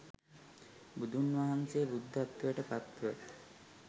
බුදුන්වහන්සේ බුද්ධත්වයට පත්ව